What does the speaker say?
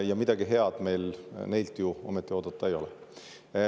Ja midagi head meil neilt ju ometi oodata ei ole.